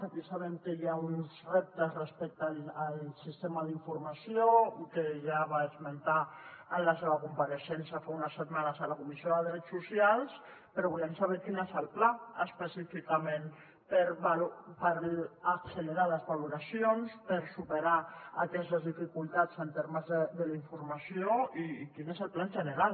aquí sabem que hi ha uns reptes respecte al sistema d’informació que ja va esmentar en la seva compareixença fa unes setmanes a la comissió de drets socials però volem saber quin és el pla específicament per accelerar les valoracions per superar aquestes dificultats en termes de la informació i quin és el pla en general